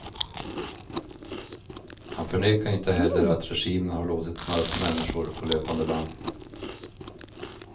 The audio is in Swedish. Han förnekar inte heller att regimen har låtit mörda människor på löpande band.